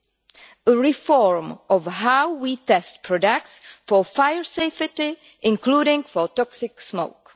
and reform of how we test products for fire safety, including for toxic smoke.